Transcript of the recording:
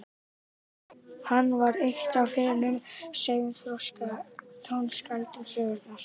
hann var eitt af hinum seinþroska tónskáldum sögunnar